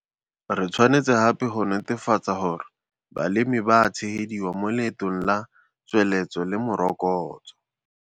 Re tshwanetse gape go netefatsa gore balemi ba a tshegediwa mo leetong la tsweletso le morokotso.